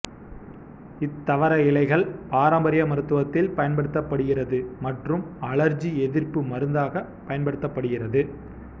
இத்தவர இலைகள் பாரம்பரிய மருத்துவத்தில் பயன்படுத்தப்படுகிறது மற்றும் அழற்சி எதிர்ப்பு மருந்தாக பயன்படுத்தப்படுகிறது